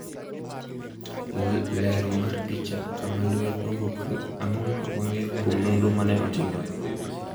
Lero mar picha, Kama luweny nowuokre Ang’o ma wang’eyo kuom nonro ma ne otimre?